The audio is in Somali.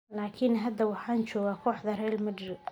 laakiin hadda waxaan joogaa kooxda Real Madrid”.